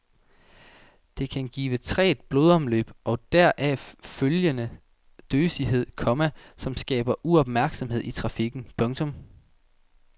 Det kan give trægt blodomløb og deraf følgende døsighed, komma som skaber uopmærksomhed i trafikken. punktum